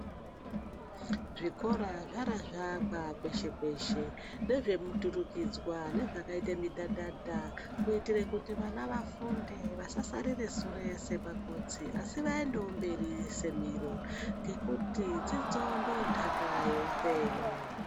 Zvikora zvara zvaakwa peshe peshe, ndezvemuturikidzwa nezvakaita midhadhadha kuitire kuti vana vafunde vasasarire sure semakotsi asi vaendewo mberi semiro ngekuti dzidzo ndoondaka yeupenyu .